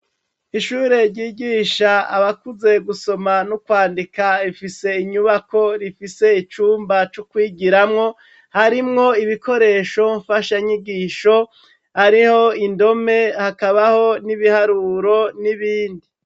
Ishure ryigisha abakuze gusoma no kwandika ifise inyubako rifise icumba c'ukwigiramwo harimwo ibikoresho mfasha nyigisho ariho indome hakabaho n'ibiharuro n'ibindi.